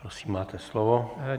Prosím, máte slovo.